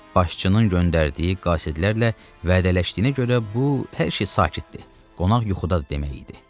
Başçının göndərdiyi qasidlərlə vədələşdiyinə görə bu, hər şey sakitdir, qonaq yuxudadır demək idi.